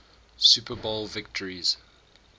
super bowl victories